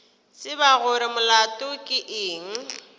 tseba gore molato ke eng